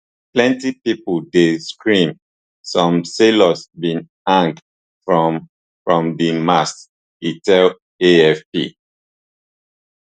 plenty pipo dey scream some sailors bin hang from from di masts e tell afp